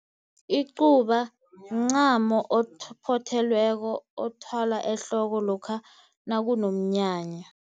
Icuba mncamo ophothelweko othwalwa ehloko lokha nakunomnyanya.